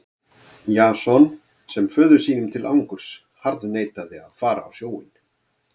Jason sem föður sínum til angurs harðneitaði að fara á sjóinn.